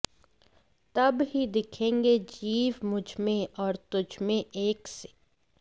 तब ही दिखेंगे जीव मुझमें और तुझमें एक से